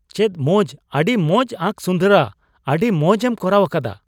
ᱪᱮᱫ ᱢᱚᱡ ! ᱟᱹᱰᱤ ᱢᱚᱡ ᱟᱸᱠ ᱥᱩᱱᱫᱚᱨᱟ ! ᱟᱹᱰᱤ ᱢᱚᱡᱽᱮᱢ ᱠᱚᱨᱟᱣ ᱟᱠᱟᱫᱟ ᱾